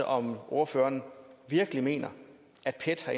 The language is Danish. om ordføreren virkelig mener at pet har